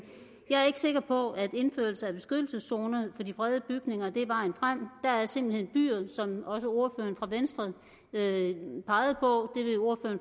jeg er ikke sikker på at indførelse af beskyttelseszoner for de fredede bygninger er vejen frem der er simpelt hen byer som også ordføreren fra venstre pegede på